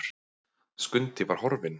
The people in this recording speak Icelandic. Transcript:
Skundi var horfinn!